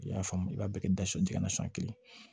I y'a faamu i b'a bɛɛ kɛ dasu kelen